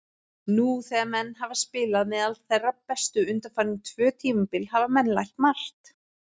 Nú þegar menn hafa spilað meðal þeirra bestu undanfarin tvö tímabil hafa menn lært margt.